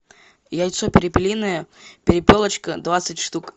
яйцо перепелиное перепелочка двадцать штук